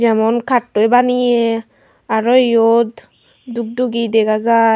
emon kattoi baneyi aro iyot duk dugi dega jiy.